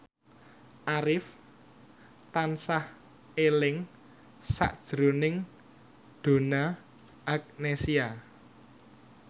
Arif tansah eling sakjroning Donna Agnesia